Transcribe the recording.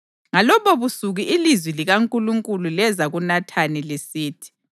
Ngalobobusuku ilizwi likaNkulunkulu leza kuNathani, lisithi: